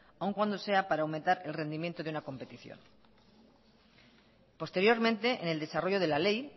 aun cuando sea para aumentar el rendimiento de una competición posteriormente en el desarrollo de la ley